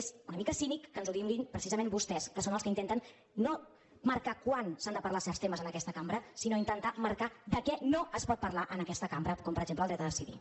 és una mica cínic que ens ho diguin precisament vostès que són els que intenten no marcar quan s’han de parlar certs temes en aquesta cambra sinó marcar de què no es pot parlar en aquesta cambra com per exemple del dret a decidir